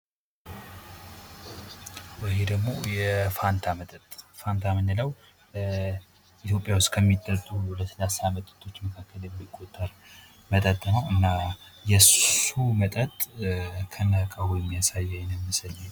ይሄ ደሞ የፋንታ መጠጥ። ፋንታ የምንለው ኢትዮጲያ ውስጥ ከሚጠጡ ለስላሳ መጠጦች መካከል የሚቆጠር መጠጥ ነው። እና የሱ መጠጥ ከነእቃው የሚያሳይ አይነት ምስል ነው።